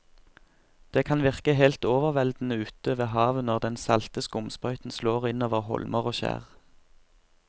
Det kan virke helt overveldende ute ved havet når den salte skumsprøyten slår innover holmer og skjær.